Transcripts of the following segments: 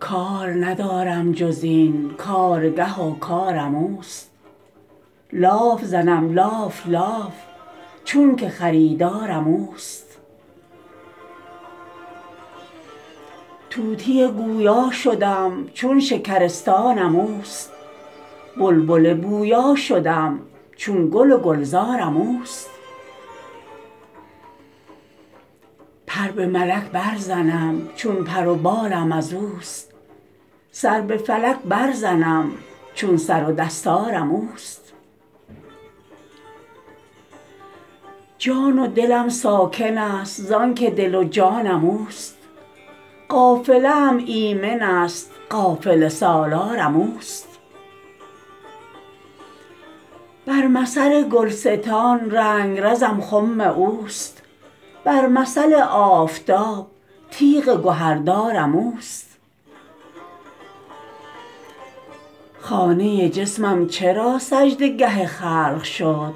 کار ندارم جز این کارگه و کارم اوست لاف زنم لاف لاف چونک خریدارم اوست طوطی گویا شدم چون شکرستانم اوست بلبل بویا شدم چون گل و گلزارم اوست پر به ملک برزنم چون پر و بالم از اوست سر به فلک برزنم چون سر و دستارم اوست جان و دلم ساکنست زانک دل و جانم اوست قافله ام ایمنست قافله سالارم اوست بر مثل گلستان رنگرزم خم اوست بر مثل آفتاب تیغ گهردارم اوست خانه جسمم چرا سجده گه خلق شد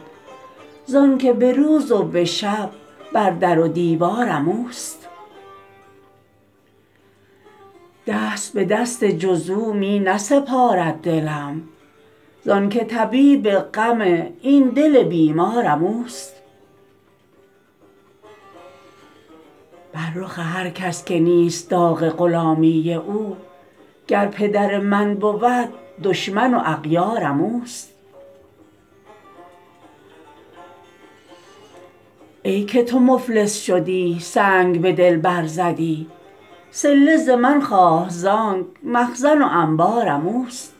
زانک به روز و به شب بر در و دیوارم اوست دست به دست جز او می نسپارد دلم زانک طبیب غم این دل بیمارم اوست بر رخ هر کس که نیست داغ غلامی او گر پدر من بود دشمن و اغیارم اوست ای که تو مفلس شدی سنگ به دل برزدی صله ز من خواه زانک مخزن و انبارم اوست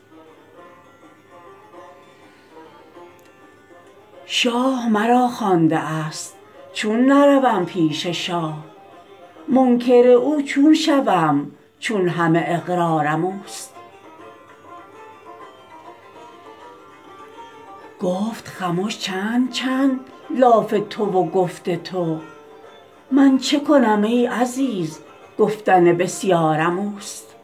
شاه مرا خوانده است چون نروم پیش شاه منکر او چون شوم چون همه اقرارم اوست گفت خمش چند چند لاف تو و گفت تو من چه کنم ای عزیز گفتن بسیارم اوست